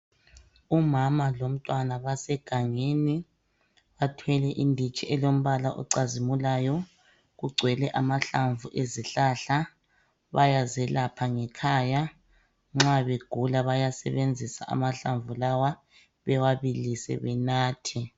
Umama lomntwana basegangeni bathwele inditshi elombala ocazimulayo kugcwele amahlamvu ezihlahla bayazelapha ngekhaya nxa begula bayasebenzisa amahlamvu lawa bewabilise benathe.